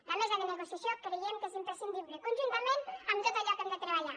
la mesa de negociació creiem que és imprescindible conjuntament amb tot allò que hem de treballar